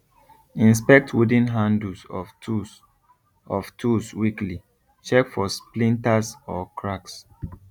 inspect wooden handles of tools of tools weekly check for splinters or cracks